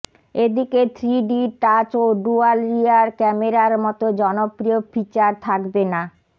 এদিকে three D touch ও dual rear ক্যামেরার মতো জনপ্রিয় ফিচার থাকবে না